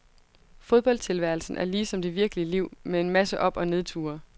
Fodboldtilværelsen er ligesom det virkelige liv, med en masse op og nedture.